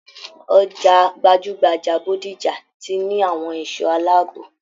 Ọjà gbajugbaja Bódìjà ti ní àwọn ẹṣọ aláàbò.